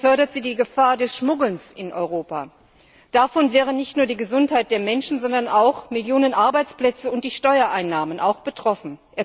Vielmehr fördert sie die Gefahr des Schmuggelns in Europa. Davon wären nicht nur die Gesundheit der Menschen, sondern auch Millionen Arbeitsplätze und die Steuereinnahmen betroffen.